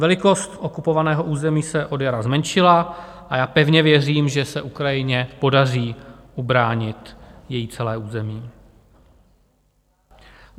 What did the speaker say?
Velikost okupovaného území se od jara zmenšila a já pevně věřím, že se Ukrajině podaří ubránit celé její území.